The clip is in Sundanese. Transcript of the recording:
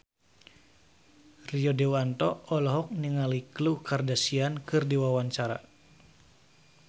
Rio Dewanto olohok ningali Khloe Kardashian keur diwawancara